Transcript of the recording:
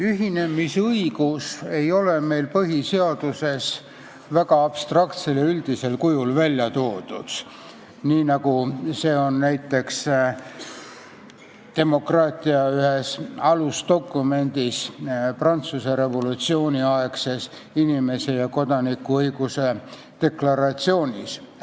Ühinemisõigus ei ole meil põhiseaduses abstraktsel ja üldisel kujul välja toodud, nii nagu see on välja toodud näiteks demokraatia ühes alusdokumendis, Prantsuse revolutsiooni aegses inimese ja kodaniku õiguste deklaratsioonis.